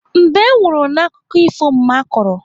Mbe nwụrụ n'akụkọ ifo mma kọrọ.